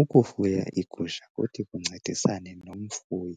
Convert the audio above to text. Ukufuya iigusha kuthi kuncedisane nomfuyi